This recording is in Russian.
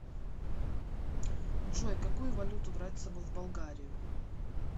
джой какую валюту брать с собой в болгарию